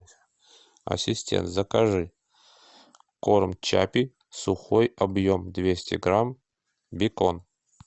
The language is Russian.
ассистент закажи корм чаппи сухой объем двести грамм бекон